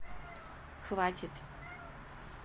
хватит